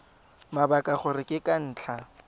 mabaka gore ke ka ntlha